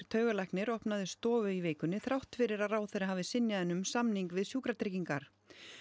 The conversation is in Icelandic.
taugalæknir opnaði stofu í vikunni þrátt fyrir að ráðherra hafi synjað henni um samning við Sjúkratryggingar